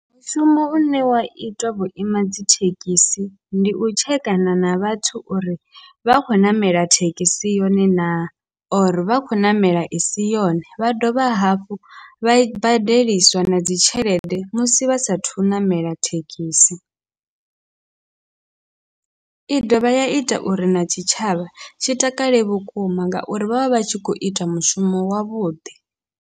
Mushumo une wa itwa vhuima dzithekhisi ndi u tshekana na vhathu uri vha khou ṋamela thekhisi yone na, or vha khou ṋamela isi yone vha dovha hafhu vha i badeliswa na dzi tshelede musi vha sathu ṋamela thekhisi, i dovha ya ita uri na tshitshavha tshi takale vhukuma ngauri vhavha vhatshi kho ita mushumo wavhuḓi.